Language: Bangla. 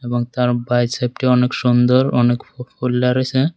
এবং তার বাইসেপটি অনেক সুন্দর অনেক ফু ফুল্লা রইসে।